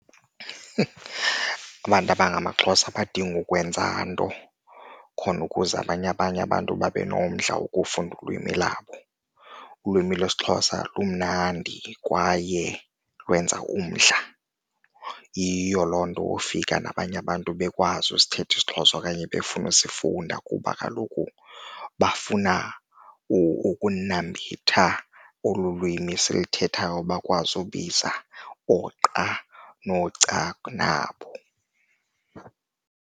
Abantu abangamaXhosa abadingi ukwenza into khona ukuze abanye abanye abantu babe nomdla wokufunda ulwimi labo. Ulwimi lwesiXhosa lumnandi kwaye lwenza umdla, yiyo loo nto ufika nabanye abantu bekwazi usithetha isiXhosa okanye befuna usifunda kuba kaloku bafuna ukunambitha olu lwimi siluthethayo, bakwazi ubiza ooqa nooca nabo.